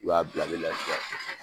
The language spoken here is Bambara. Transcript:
U y'a bila ale la sisan.